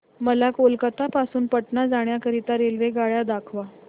मला कोलकता पासून पटणा जाण्या करीता रेल्वेगाड्या दाखवा